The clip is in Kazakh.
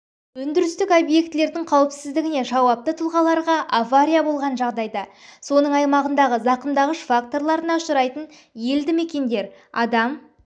өндірістік объектілердің қауіпсіздігіне жауапты тұлғаларға авария болған жағдайда соның аймағындағы зақымдағыш факторларына ұшырайтын елді мекендер адам